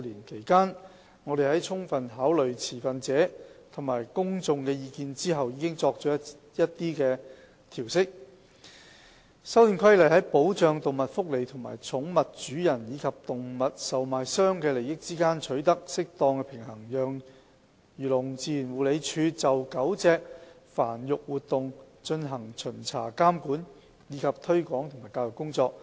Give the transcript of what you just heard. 其間，我們在充分考慮持份者及公眾的意見後，已作了一些調適，《修訂規例》在保障動物福利和寵物主人及動物售賣商的利益之間取得適當的平衡，讓漁農自然護理署就狗隻繁育活動進行巡查監管，以及推廣及教育工作。